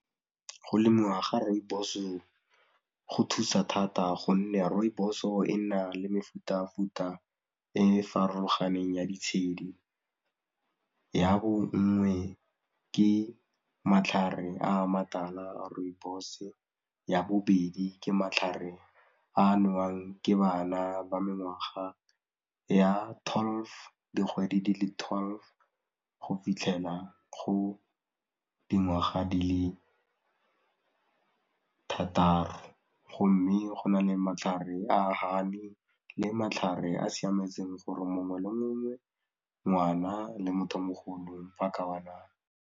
Go lemiwa ga rooibos-e go thusa, gonne rooibos-o e nna le mefutafuta e e farologaneng ya ditshedi ya bonngwe ke matlhare a matala a rooibos-e, ya bobedi ke matlhare a nowang ke bana ba mengwaga ya twelve, dikgwedi di le twelve go fitlhela go dingwaga di le thataro, go mme go na le matlhare a honey le matlhare a siametseng gore mongwe le mongwe, ngwana le motho o mogolo a ka nwa.